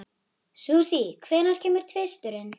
Susie, hvenær kemur tvisturinn?